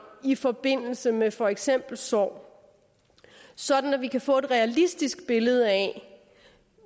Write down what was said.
i forbindelse med for eksempel sorg sådan at vi kan få et realistisk billede af